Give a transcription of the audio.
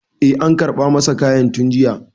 e an karɓa masa kayan tun jiya